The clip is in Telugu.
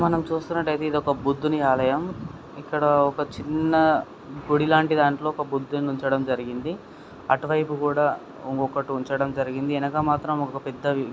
మనం చూస్తున్నట్లయితే ఒక బుద్ధుని ఆలయం. ఇక్కడ ఒక చిన్న గుడి లాంటి దాంతో ఒక బుద్ధుని ఉంచడం జరిగింది. అటువైపు కూడా ఒకటి ఉంచడం జరిగింది ఎనకమాత్రం ఒక పెద్ద వి --